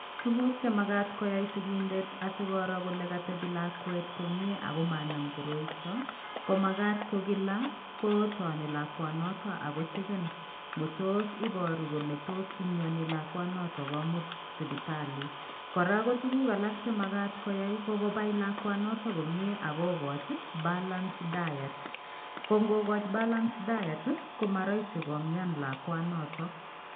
Tuguk che magat koyai sigindet asikiro kole katebi lakwet komie ago maanam koroito ko magat kogila kotoni lakwanoto ak kocheken ngotos ibaru kole tos mianilakwanoto komut sipitali. Kora ko tuguk alak che magat koyai ko kopai lakwanoto komie ak kogochi balance diet. Ko ngogachi balance diet, komaraisi komian lakwanoto.